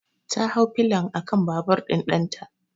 Ta hau pilion akan babur ɗin ɗanta.